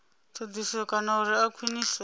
thodisiso kana uri a khwiniswe